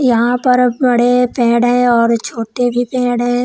यहां पर बड़े पेड़ हैं और छोटे भी पेड़ हैं।